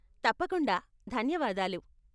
తప్పకుండా, ధన్యవాదాలు.